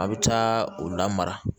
A' bɛ taa o la mara